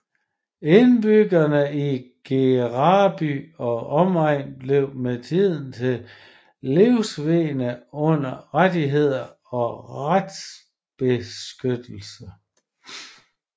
Indbyggerne i Gereby og omegnen blev med tiden til livegne uden rettigheder og retsbeskyttelse